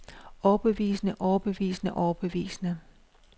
overbevisende overbevisende overbevisende